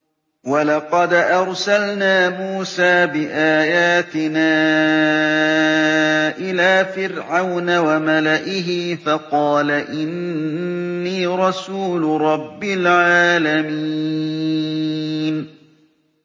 وَلَقَدْ أَرْسَلْنَا مُوسَىٰ بِآيَاتِنَا إِلَىٰ فِرْعَوْنَ وَمَلَئِهِ فَقَالَ إِنِّي رَسُولُ رَبِّ الْعَالَمِينَ